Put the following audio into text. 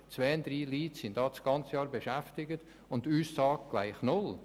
Zwei oder drei Leute wären das ganze Jahr beschäftigt, und die Aussage wäre gleich Null.